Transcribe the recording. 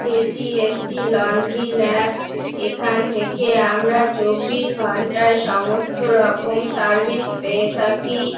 এটি একটি laundry lab. এখান থাকে আমরা চব্বিশ ঘন্টায় সমস্ত সার্ভিস পেয়ে থাকি।